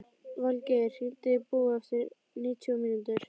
Falgeir, hringdu í Búa eftir níutíu mínútur.